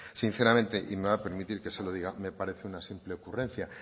sinceramente y me va a permitir que se lo diga me parece una simple ocurrencia